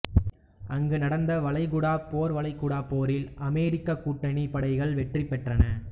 அங்கு நடந்த வளைகுடாப் போர்வளைகுடாப் போரில் அமெரிக்கக் கூட்டணிப் படைகள் வெற்றி பெற்றன